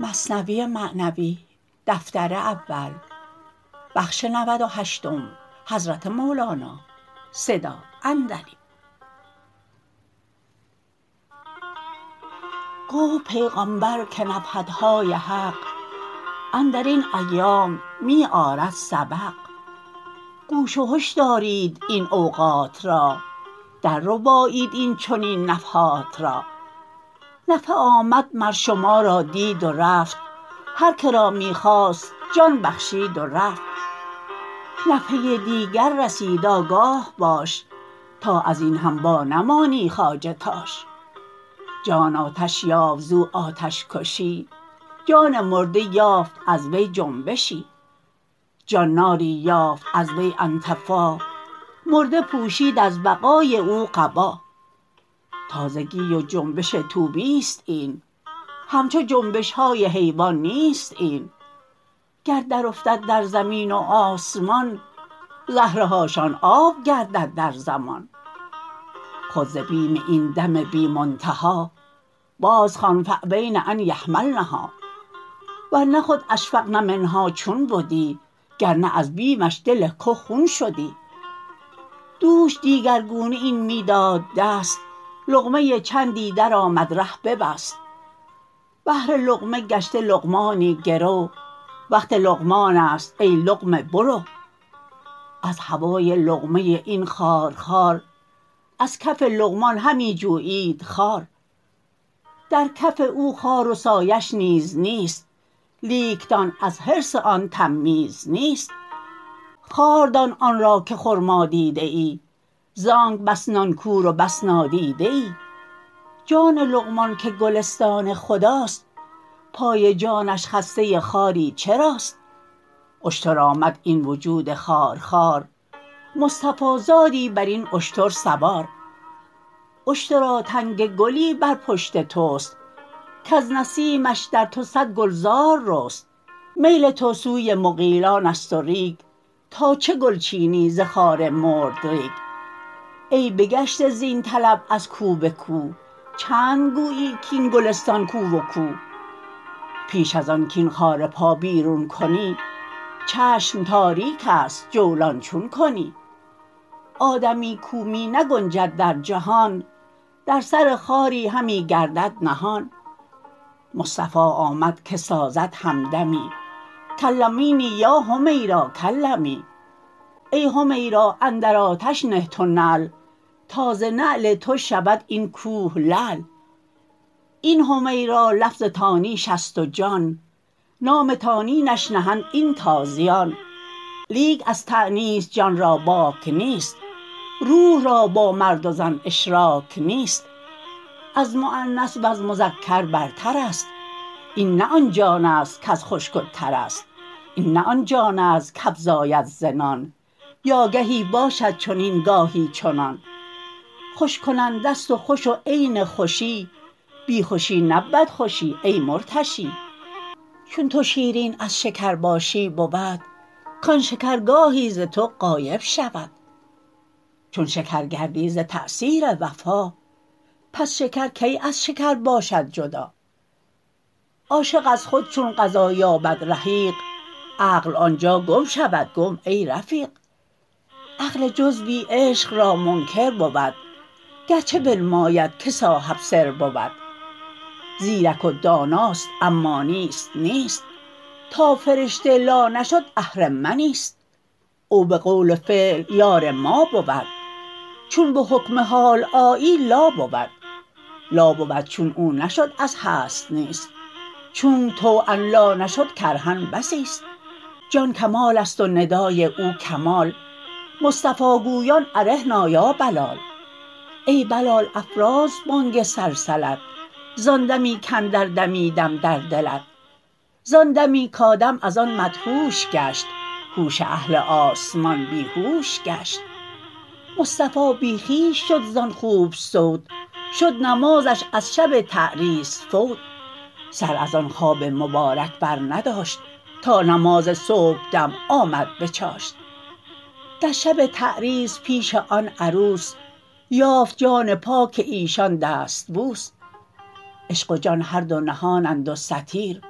گفت پیغامبر که نفحتهای حق اندرین ایام می آرد سبق گوش و هش دارید این اوقات را در ربایید این چنین نفحات را نفحه آمد مر شما را دید و رفت هر که را می خواست جان بخشید و رفت نفحه دیگر رسید آگاه باش تا ازین هم وانمانی خواجه تاش جان آتش یافت زو آتش کشی جان مرده یافت از وی جنبشی جان ناری یافت از وی انطفا مرده پوشید از بقای او قبا تازگی و جنبش طوبیست این همچو جنبشهای حیوان نیست این گر در افتد در زمین و آسمان زهره هاشان آب گردد در زمان خود ز بیم این دم بی منتها باز خوان فابین ان یحملنها ورنه خود اشفقن منها چون بدی گرنه از بیمش دل که خون شدی دوش دیگر لون این می داد دست لقمه چندی درآمد ره ببست بهر لقمه گشته لقمانی گرو وقت لقمانست ای لقمه برو از هوای لقمه این خارخار از کف لقمان همی جویید خار در کف او خار و سایه ش نیز نیست لیکتان از حرص آن تمییز نیست خار دان آن را که خرما دیده ای زانک بس نان کور و بس نادیده ای جان لقمان که گلستان خداست پای جانش خسته خاری چراست اشتر آمد این وجود خارخوار مصطفی زادی برین اشتر سوار اشترا تنگ گلی بر پشت تست کز نسیمش در تو صد گلزار رست میل تو سوی مغیلانست و ریگ تا چه گل چینی ز خار مردریگ ای بگشته زین طلب از کو بکو چند گویی کین گلستان کو و کو پیش از آن کین خار پا بیرون کنی چشم تاریکست جولان چون کنی آدمی کو می نگنجد در جهان در سر خاری همی گردد نهان مصطفی آمد که سازد همدمی کلمینی یا حمیرا کلمی ای حمیرا اندر آتش نه تو نعل تا ز نعل تو شود این کوه لعل این حمیرا لفظ تانیثست و جان نام تانیثش نهند این تازیان لیک از تانیث جان را باک نیست روح را با مرد و زن اشراک نیست از مؤنث وز مذکر برترست این نی آن جانست کز خشک و ترست این نه آن جانست کافزاید ز نان یا گهی باشد چنین گاهی چنان خوش کننده ست و خوش و عین خوشی بی خوشی نبود خوشی ای مرتشی چون تو شیرین از شکر باشی بود کان شکر گاهی ز تو غایب شود چون شکر گردی ز تاثیر وفا پس شکر کی از شکر باشد جدا عاشق از خود چون غذا یابد رحیق عقل آنجا گم شود گم ای رفیق عقل جزوی عشق را منکر بود گرچه بنماید که صاحب سر بود زیرک و داناست اما نیست نیست تا فرشته لا نشد آهرمنیست او بقول و فعل یار ما بود چون بحکم حال آیی لا بود لا بود چون او نشد از هست نیست چونک طوعا لا نشد کرها بسیست جان کمالست و ندای او کمال مصطفی گویان ارحنا یا بلال ای بلال افراز بانگ سلسلت زان دمی کاندر دمیدم در دلت زان دمی کادم از آن مدهوش گشت هوش اهل آسمان بیهوش گشت مصطفی بی خویش شد زان خوب صوت شد نمازش از شب تعریس فوت سر از آن خواب مبارک بر نداشت تا نماز صبحدم آمد بچاشت در شب تعریس پیش آن عروس یافت جان پاک ایشان دستبوس عشق و جان هر دو نهانند و ستیر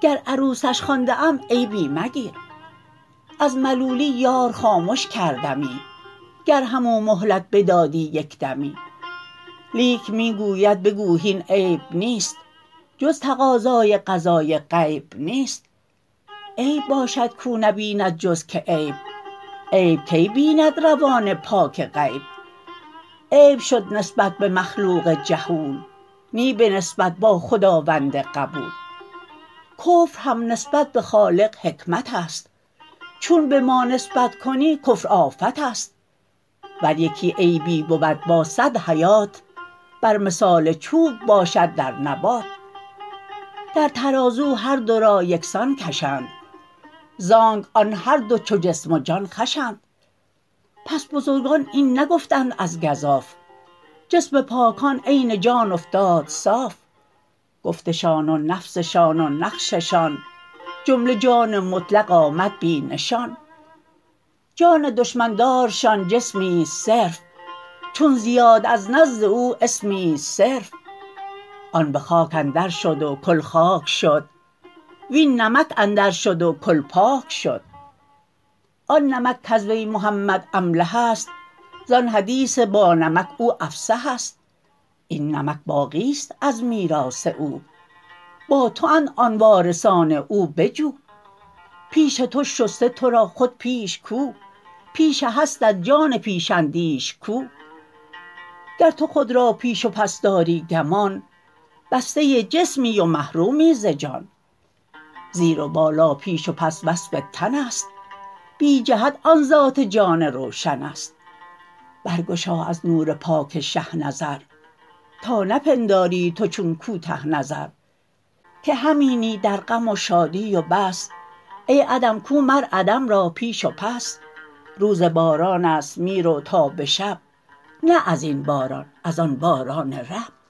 گر عروسش خوانده ام عیبی مگیر از ملولی یار خامش کردمی گر همو مهلت بدادی یکدمی لیک می گوید بگو هین عیب نیست جز تقاضای قضای غیب نیست عیب باشد کو نبیند جز که عیب عیب کی بیند روان پاک غیب عیب شد نسبت به مخلوق جهول نی به نسبت با خداوند قبول کفر هم نسبت به خالق حکمتست چون به ما نسبت کنی کفر آفتست ور یکی عیبی بود با صد حیات بر مثال چوب باشد در نبات در ترازو هر دو را یکسان کشند زانک آن هر دو چو جسم و جان خوشند پس بزرگان این نگفتند از گزاف جسم پاکان عین جان افتاد صاف گفتشان و نفسشان و نقششان جمله جان مطلق آمد بی نشان جان دشمن دارشان جسمست صرف چون زیاد از نرد او اسمست صرف آن به خاک اندر شد و کل خاک شد وین نمک اندر شد و کل پاک شد آن نمک کز وی محمد املحست زان حدیث با نمک او افصحست این نمک باقیست از میراث او با توند آن وارثان او بجو پیش تو شسته ترا خود پیش کو پیش هستت جان پیش اندیش کو گر تو خود را پیش و پس داری گمان بسته جسمی و محرومی ز جان زیر و بالا پیش و پس وصف تنست بی جهتها ذات جان روشنست برگشا از نور پاک شه نظر تا نپنداری تو چون کوته نظر که همینی در غم و شادی و بس ای عدم کو مر عدم را پیش و پس روز بارانست می رو تا به شب نه ازین باران از آن باران رب